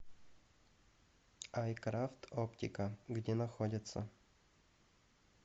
айкрафт оптика где находится